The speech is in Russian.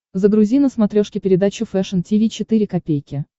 загрузи на смотрешке передачу фэшн ти ви четыре ка